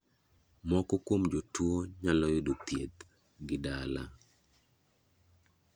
Moko kuom jotuo nyalo yudo thieth gi dala.